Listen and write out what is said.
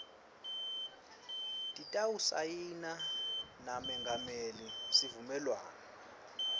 titawusayina namengameli sivumelwano